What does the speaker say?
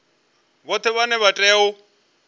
vhoṱhe vhane vha tea u